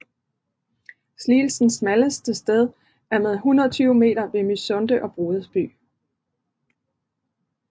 Sliens smalleste sted er med 120 meter ved Mysunde og Brodersby